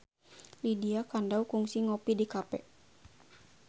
Lydia Kandou kungsi ngopi di cafe